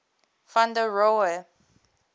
van der rohe